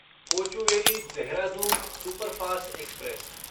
Kochuveli Dehradun superfast express